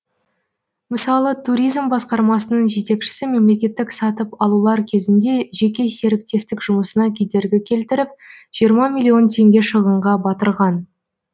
мысалы туризм басқармасының жетекшісі мемлекеттік сатып алулар кезінде жеке серіктестік жұмысына кедергі келтіріп жиырма миллион теңге шығынға батырған